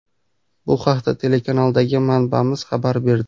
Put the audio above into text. Bu haqda telekanaldagi manbamiz xabar berdi.